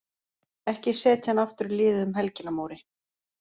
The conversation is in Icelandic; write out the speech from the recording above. Ekki setja hann aftur í liðið um helgina Móri.